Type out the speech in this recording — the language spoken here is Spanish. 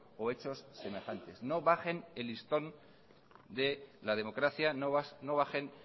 o hechos semejantes no bajen el listón de la democracia no bajen